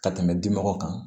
Ka tɛmɛ di mɔgɔw kan